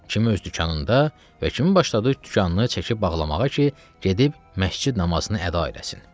Kimi öz dükanında və kimi başladı dükanını çəkib bağlamağa ki, gedib məscid namazını əda eləsin.